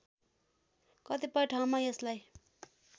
कतिपय ठाउँमा यसलाई